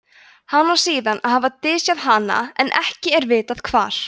hann á síðan að hafa dysjað hana en ekki er vitað hvar